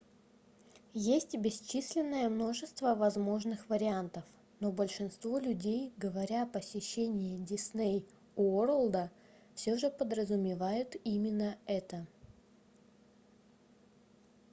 есть бесчисленное множество возможных вариантов но большинство людей говоря о посещении дисней уорлда все же подразумевают именно это